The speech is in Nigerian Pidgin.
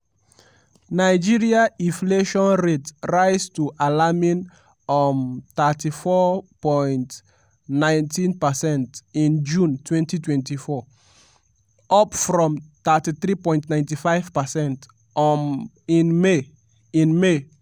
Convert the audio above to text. nigeria inflation rate rise to alarming um 34.19 percent in june 2024 - up from 33.95 percent um in may. in may.